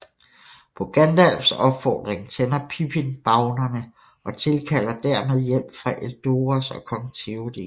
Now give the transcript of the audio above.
På Gandalfs opfordring tænder Pippin bavnerne og tilkalder dermed hjælp fra Edoras og kong Théoden